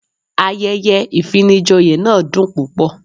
Ayẹyẹ ìfinijoyè náà dùn púpọ̀.